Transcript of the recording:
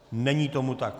Není tomu tak.